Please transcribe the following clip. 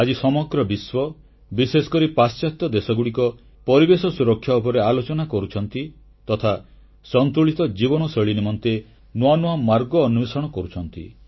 ଆଜି ସମଗ୍ର ବିଶ୍ୱ ବିଶେଷକରି ପାଶ୍ଚାତ୍ୟ ଦେଶଗୁଡ଼ିକ ପରିବେଶ ସୁରକ୍ଷା ଉପରେ ଆଲୋଚନା କରୁଛନ୍ତି ତଥା ସନ୍ତୁଳିତ ଜୀବନଶୈଳୀ ନିମନ୍ତେ ନୂଆ ନୂଆ ମାର୍ଗ ଅନ୍ୱେଷଣ କରୁଛନ୍ତି